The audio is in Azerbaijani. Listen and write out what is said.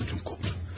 İçim qovruldu.